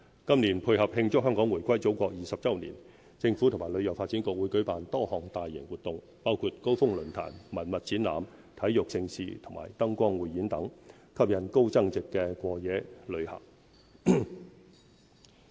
今年，配合慶祝香港回歸祖國20周年，政府和旅遊發展局會舉辦多項大型活動，包括高峰論壇、文物展覽、體育盛事和燈光匯演等，吸引高增值過夜旅客。